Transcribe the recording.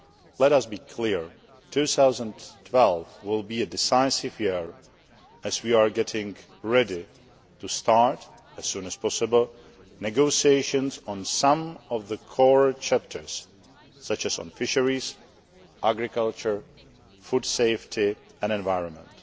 Let us be clear 2012 will be a decisive year as we are getting ready to start, as soon as possible, negotiations on some of the core chapters, such as on fisheries, agriculture, food safety and environment.